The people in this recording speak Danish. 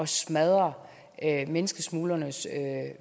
smadre menneskesmuglernes